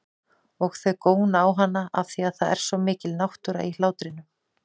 Og þau góna á hana afþvíað það er svo mikil náttúra í hlátrinum.